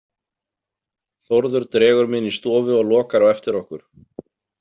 Þórður dregur mig inn í stofu og lokar á eftir okkur.